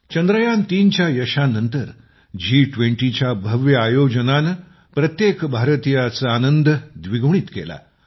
3च्या यशानंतर जी20च्या भव्य आयोजनाने प्रत्येक भारतीयाचा आनंद द्विगुणित केला